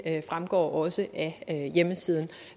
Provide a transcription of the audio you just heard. også af hjemmesiden